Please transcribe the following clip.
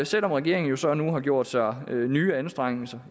selv om regeringen jo så nu har gjort sig nye anstrengelser